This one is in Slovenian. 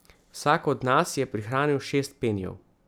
Vsak od nas je prihranil šest penijev.